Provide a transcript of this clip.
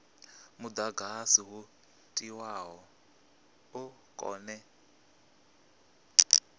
mudagasi wo tiwaho u kone